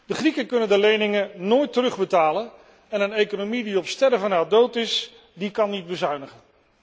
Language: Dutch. De Grieken kunnen de leningen nooit terugbetalen en een economie die op sterven na dood is, kan niet bezuinigen.